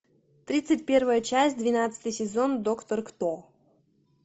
тридцать первая часть двенадцатый сезон доктор кто